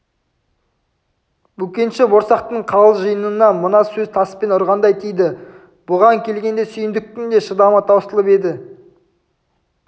бөкенші борсақтың қалың жиынына мына сөз таспен ұрғандай тиді бұған келгенде сүйіндіктің де шыдамы таусылып еді